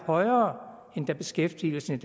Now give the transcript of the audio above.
højere end da beskæftigelsen